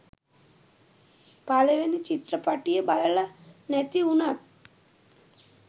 පළවෙනි චිත්‍රපටිය බලල නැති උනත්